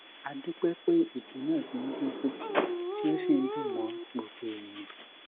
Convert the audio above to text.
a dúpẹ pé ìju náà ti ń dínkù tí o sì dùñ mọ gbogbo ènìyàn